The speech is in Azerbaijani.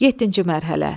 Yeddinci mərhələ.